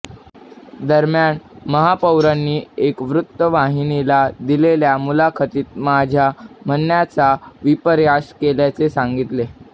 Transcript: दरम्यान महापौरांनी एक वृत्तवाहिनीला दिलेल्या मुलाखतीत माझ्या म्हणण्याचा विपर्यास केल्याचे सांगितले